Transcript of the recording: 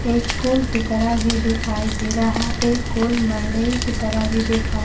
एक पुल की तरह भी दिखाई दे रहा एक की तरह भी दिखाई--